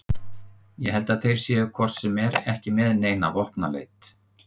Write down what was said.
Ég held að þeir séu hvort sem er ekki með neitt vopnaleit